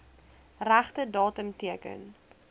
regte datum teken